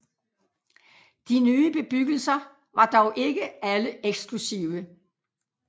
De nye bebyggelser var dog ikke alle eksklusive